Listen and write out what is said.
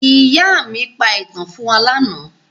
Ìyá mi pa ìtàn fún wa lánàá.